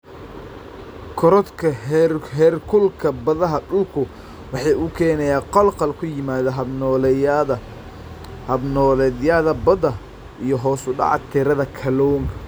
Korodhka heerkulka badaha dhulku waxa uu keenaa khalkhal ku yimaada hab-nololeedyada badda iyo hoos u dhaca tirada kalluunka.